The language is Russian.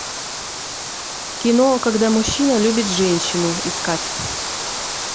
кино когда мужчина любит женщину искать